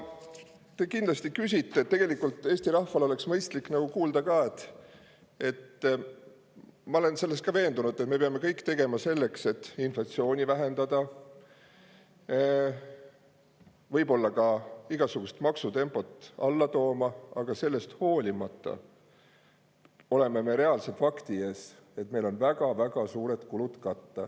Te kindlasti küsite selle kohta ja tegelikult Eesti rahval oleks mõistlik kuulda ka, et ma olen selles veendunud, et me peame tegema kõik selleks, et inflatsiooni, võib-olla ka maksutempot alla tooma, aga sellest hoolimata oleme reaalse fakti ees, et meil on väga-väga suured kulud katta.